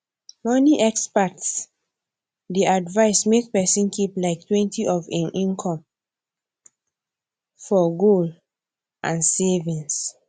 money experts dey advise make person keep liketwentyof him income for goal and savings